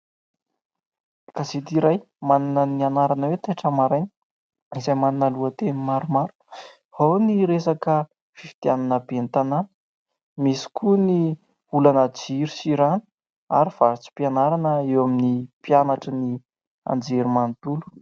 Gazety iray manana ny anarana hoe : "Taitra maraina" izay manana lohateny maromaro. Ao ny resaka fifidianana ben'ny tanàna, misy koa ny olana jiro sy rano ary vatsim-pianarana eo amin'ny mpianatrin'ny anjerimanontolo.